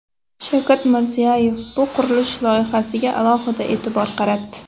Shavkat Mirziyoyev bu qurilish loyihasiga alohida e’tibor qaratdi.